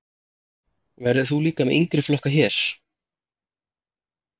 Verður þú líka með yngri flokka hér?